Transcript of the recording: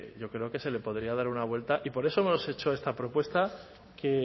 yo creo que se le podría dar una vuelta y por eso hemos hecho esta propuesta que